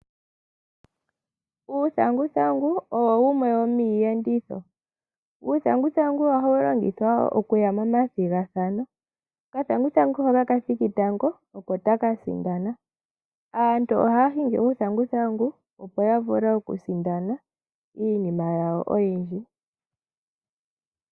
Uuthanguthangu owo wumwe womiiyenditho. Uuthanguthangu ohawu longithwa okuya momathigathano, okathanguthangu hoka kathiki tango oko taka sindana. Aantu ohaya hingi uuntanguthangu opo ya vule oku sindana iinima yawo oyindji.